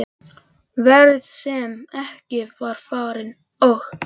Ferð sem ekki var farin- og þó!